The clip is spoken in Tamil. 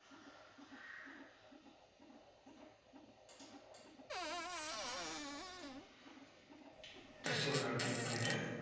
just இதை ஒரு தடவை click பண்ணிட்டு